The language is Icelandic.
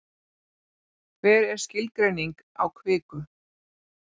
Hver er skilgreining á kviku?